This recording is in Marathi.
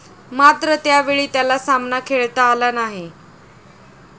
मात्र त्यावेळी त्याला सामना खेळता आला नाही.